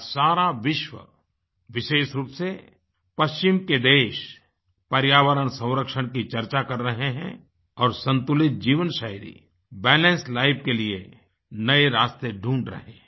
आज सारा विश्व विशेष रूप से पश्चिम के देश पर्यावरण संरक्षण की चर्चा कर रहे हैंऔर संतुलित जीवनशैली बैलेंस लाइफ के लिए नए रास्ते ढूंढ रहे हैं